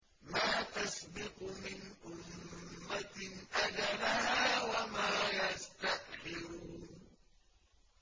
مَّا تَسْبِقُ مِنْ أُمَّةٍ أَجَلَهَا وَمَا يَسْتَأْخِرُونَ